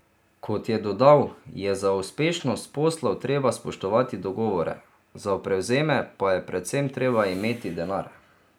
Kot je dodal, je za uspešnost poslov treba spoštovati dogovore, za prevzeme pa je predvsem treba imeti denar.